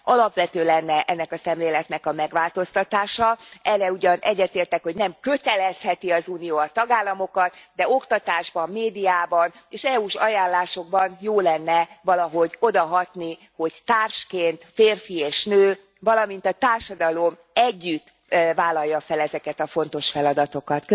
Alapvető lenne ennek a szemléletnek a megváltoztatása, abban ugyan egyetértek, hogy nem kötelezheti az Unió a tagállamokat, de oktatásban, médiában és EU s ajánlásokban jó lenne valahogy odahatni, hogy társként, férfi és nő, valamint a társadalom együtt vállalja fel ezeket a fontos feladatokat.